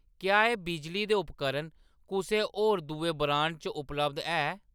क्या एह्‌‌ बिजली दे उपकरण कुसै होर दुए ब्रांड च उपलब्ध ऐ ?